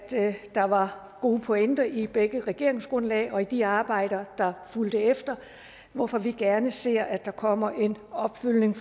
der var gode pointer i begge regeringsgrundlag og i de arbejder der fulgte efter hvorfor vi gerne ser at der kommer en opfølgning